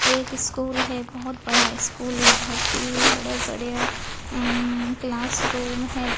एक स्कूल है बहोत बड़ा स्कूल है बहोत ही बड़े बड़े अं क्लास रूम है।